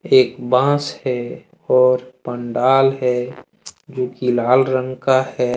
एक बांस हैं और पंडाल है जो कि लाल रंग का है।